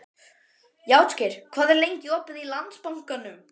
Játgeir, hvað er lengi opið í Landsbankanum?